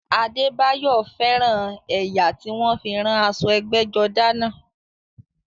Adébáyọ̀ fẹ́ràn ẹ̀yà tí wọ́n fi rán aṣọ ẹgbẹ́jọdá náà